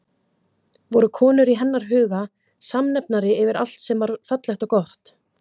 Voru konur í hennar huga samnefnari yfir allt sem var fallegt og gott?